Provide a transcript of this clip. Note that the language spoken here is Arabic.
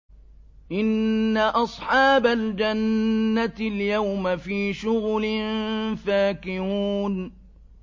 إِنَّ أَصْحَابَ الْجَنَّةِ الْيَوْمَ فِي شُغُلٍ فَاكِهُونَ